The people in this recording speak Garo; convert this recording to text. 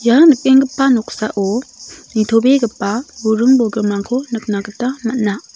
ia nikenggipa noksao nitobegipa buring bolgrimrangko nikna gita man·a.